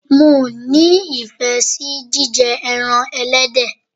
Mi ò ní ìfẹ́ sí jíjẹ ẹran ẹlẹ́dẹ̀.